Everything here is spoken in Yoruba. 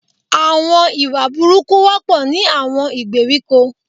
Àwon ìwà burúkú wọ́pọ̀ ní àwon ìgbèríko